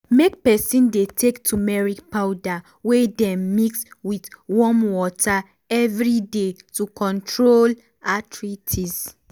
make peson dey take tumeric powder wey dem mix with warm water everyday to control arthritis.